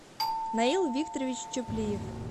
наил викторович чуплиев